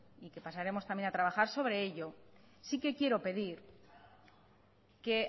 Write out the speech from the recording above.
y que pasaremos también a trabajar sobre ello sí que quiero pedir que